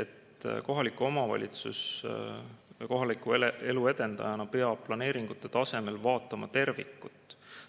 et kohalik omavalitsus kui kohaliku elu edendaja peab planeeringute tasemel vaatama tervikut.